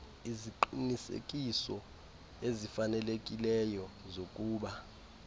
iziqinisekiso ezifanelekileyo zokuba